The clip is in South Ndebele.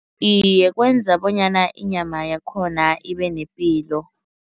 Iye, kwenza bonyana inyama yakhona ibenepilo.